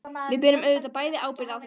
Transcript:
Við berum auðvitað bæði ábyrgð á þessu.